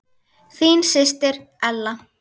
Þín systir Ella.